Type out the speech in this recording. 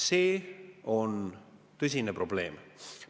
See on tõsine probleem.